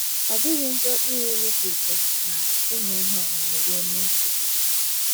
Ọ dịghị njọ iri nri dị ụtọ na ịṅụ ihe ọṅụṅụ ruo n’ókè.